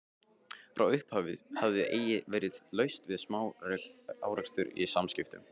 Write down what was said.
Frá upphafi hafði eigi verið laust við smá-árekstra í samskiptum